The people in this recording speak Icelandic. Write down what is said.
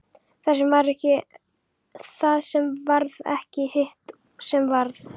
Það sem varð ekki og hitt sem varð